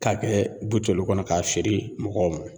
K'a kɛ buteli kɔnɔ k'a feere mɔgɔw ma